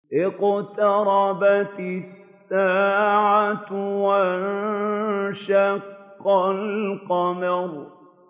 اقْتَرَبَتِ السَّاعَةُ وَانشَقَّ الْقَمَرُ